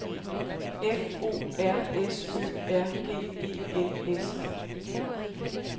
F O R S Ø R G E L S E